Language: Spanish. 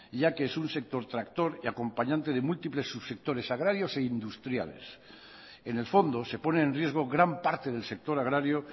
ya que es un sector tractor y acompañante de múltiples subsectores agrarios e industriales en el fondo se pone en riesgo gran parte del sector agrario